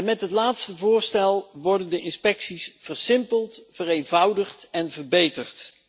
Met het laatste voorstel worden de inspecties versimpeld, vereenvoudigd en verbeterd.